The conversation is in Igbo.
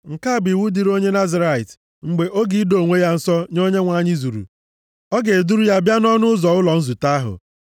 “ ‘Nke a bụ iwu dịrị onye Nazirait mgbe oge ido onwe ya nsọ nye Onyenwe anyị zuru. A ga-eduru ya bịa nʼọnụ ụzọ ụlọ nzute ahụ.